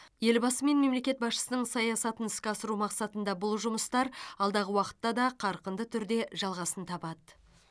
елбасы мен мемлекет басшысының саясатын іске асыру мақсатында бұл жұмыстар алдағы уақытта да қарқынды түрде жалғасын табады